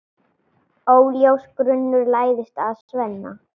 Óljós grunur læðist að Svenna.